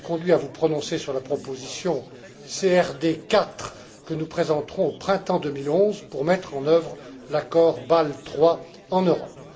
Vous serez conduits à vous prononcer sur la proposition CRD 4 que nous présenterons au printemps 2011 pour mettre en œuvre l'accord Bâle III en Europe.